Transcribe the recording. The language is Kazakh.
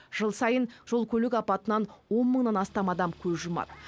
жыл сайын жол көлік апатынан он мыңнан астам адам көз жұмады